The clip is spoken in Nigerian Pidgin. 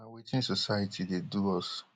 but na wetin society dey do us